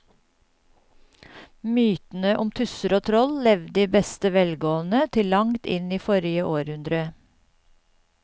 Mytene om tusser og troll levde i beste velgående til langt inn i forrige århundre.